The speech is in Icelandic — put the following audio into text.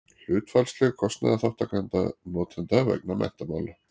hlutfallsleg kostnaðarþátttaka notenda vegna menntamála